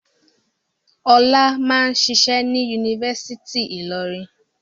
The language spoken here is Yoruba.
Ọlá máà ń ṣiṣẹ́ ní Yunifásítì Ìlọrin?